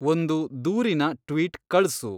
ಒಂದು ದೂರಿನ ಟ್ವೀಟ್‌ ಕಳ್ಸು